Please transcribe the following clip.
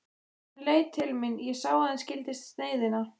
Hann leit til mín, ég sá að hann skildi sneiðina.